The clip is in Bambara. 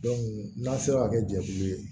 n'an sera ka kɛ jɛkulu ye